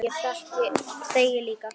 Ég þegi líka.